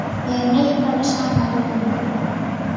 Ég hnipra mig saman í rúminu.